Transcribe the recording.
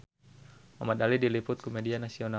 Muhamad Ali diliput ku media nasional